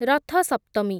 ରଥ ସପ୍ତମୀ